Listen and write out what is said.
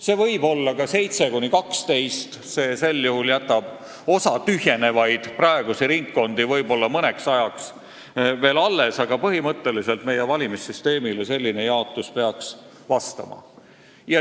See võib olla ka 7–12, sel juhul jääks osa tühjenevaid praegusi ringkondi võib-olla mõneks ajaks alles, aga põhimõtteliselt peaks selline jaotus meie valimissüsteemile vastama.